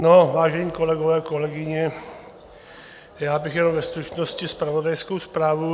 No, vážení kolegové a kolegyně, já bych jenom ve stručnosti zpravodajskou zprávu.